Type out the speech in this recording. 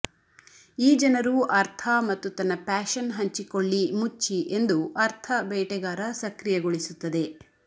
ಈ ಜನರು ಅರ್ಥ ಮತ್ತು ತನ್ನ ಪ್ಯಾಶನ್ ಹಂಚಿಕೊಳ್ಳಿ ಮುಚ್ಚಿ ಎಂದು ಅರ್ಥ ಬೇಟೆಗಾರ ಸಕ್ರಿಯಗೊಳಿಸುತ್ತದೆ